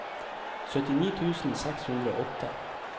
syttini tusen seks hundre og åtte